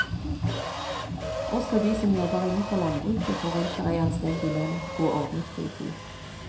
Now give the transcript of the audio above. Også de som jobber innenfor landbruket forventer ei anstendig lønn og ordnet fritid.